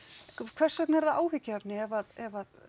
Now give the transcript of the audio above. hvers vegna er það áhyggjuefni ef ef